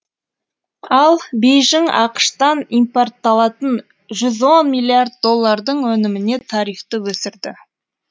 ал бейжің ақш тан импортталатын жүз он миллиард доллардың өніміне тарифті өсірді